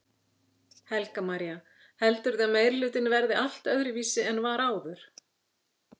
Helga María: Heldurðu að meirihlutinn verði allt öðruvísi en var áður?